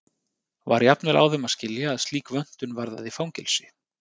Var jafnvel á þeim að skilja að slík vöntun varðaði fangelsi.